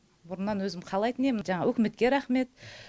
бұрыннан өзім қалайтын ем жаңағы үкіметке рахмет